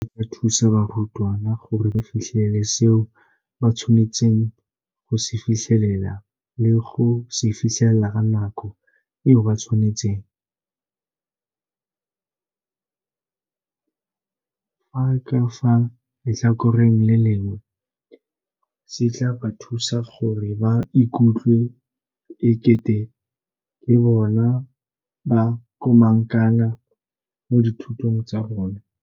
Seno se tla thusa barutwana gore ba fitlhelele seo ba tshwanetseng go se fitlhelela le go se fitlhelela ka nako eo ba e beetsweng, fa ka fa letlhakoreng le lengwe se tla ba thusa gore ba ikutlwe e kete ke bona bo komangkanna mo dithutong tsa bona.